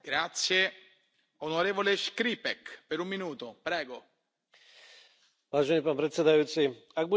Vážený pán predsedajúci, ak budeme dnes naše deti učiť tak, ako sa učili včera, okrádame ich o budúcnosť.